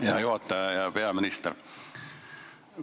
Hea juhataja ja peaminister!